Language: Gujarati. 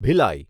ભિલાઈ